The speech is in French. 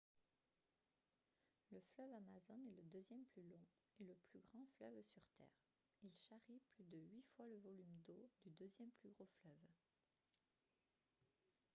le fleuve amazone est le deuxième plus long et le plus grand fleuve sur terre il charrie plus de huit fois le volume d'eau du deuxième plus gros fleuve